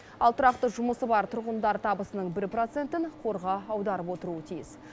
ал тұрақты жұмысы бар тұрғындар табысының бір процентін қорға аударып отыруы тиіс